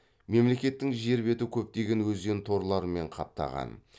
мемлекеттің жер беті көптеген өзен торларымен қаптаған